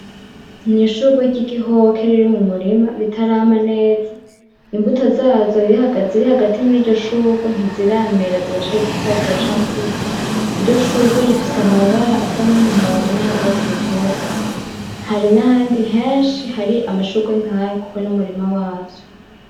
N’ishurwe ry’igihoke riri mu murima ritarama neza imbuto zazo ziri hagati mw iryo shurwe ntiziramera ziracari zitoya ziracakura , iryo shurwe rifise amabara asa n’umuhondo nay’urwatsi rutoto. Hari n’ahandi henshi hari amashurwe nkayo Kuko n’umurima wavyo.